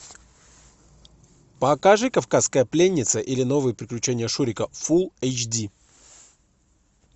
покажи кавказская пленница или новые приключения шурика фулл эйч ди